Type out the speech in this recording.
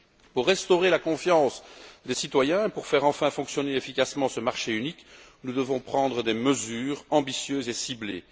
Pour restaurer la confiance des citoyens et pour faire enfin fonctionner efficacement ce marché unique, nous devons prendre des mesures ambitieuses et ciblées.